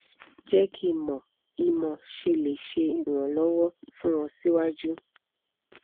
je ki mo i mo se le seranlowo fun o si waju